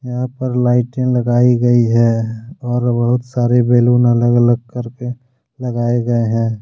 यहां पर लाइटे लगाई गई है और बहुत सारे बैलून अलग अलग करके लगाए गए हैं।